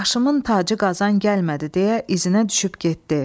Başımın tacı Qazan gəlmədi deyə izinə düşüb getdi.